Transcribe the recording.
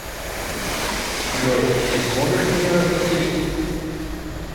джой ты сможешь меня развеселить